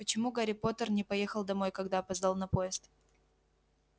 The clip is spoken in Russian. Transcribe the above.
почему гарри поттер не поехал домой когда опоздал на поезд